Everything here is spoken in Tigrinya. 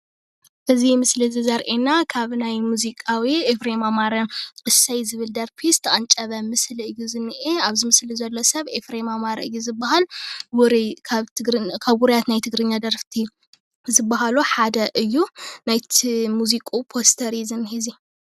እዚ ኣብዚ ምስሊ እዚ ዘርእየና ካብ ናይ ሙዚቃዊ ኤፍረም ኣማረ እሰይ ዝብል ደርፊ ዝተቀንጨበ ምስሊ እዩ ዝኒአ ። ኣብዚ ምስሊ ዘሎ ሰብ ኤፍሬም ኣማረ እዩ ዝበሃል። ካብ ውሩያት ናይ ትግርኛ ደረፍቲ ዝባሃሉ ሓደ እዩ። ናይቲ ሙዚቁኡ ፖስተር እዩ ዝኒአ እዙይ።